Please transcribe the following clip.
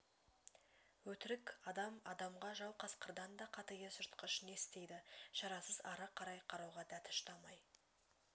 өтірік адам адамға жау қасқырдан да қатыгез жыртқыш не істейді шарасыз ары қарай қарауға дәті шыдамай